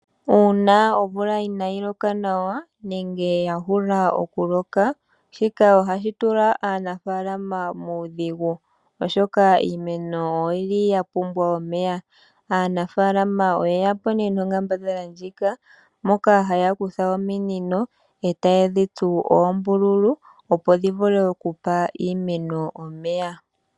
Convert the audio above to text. Una omvula inayi loka nawa nenge ya mana oku loka shika ohashi tula aanafalama muudhigu oshoa iimeno oyili ya pumbwa omeya. Aanafalama oye yapo nonkambadhala ndjoka haya kutha ominino etaye dhitsu oombululu opo dhi vule okupa iimeno omeya.